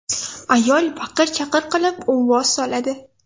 Ayol baqir-chaqir qilib, uvvos soladi.